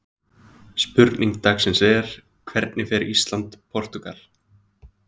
Spurning dagsins er: Hvernig fer Ísland- Portúgal?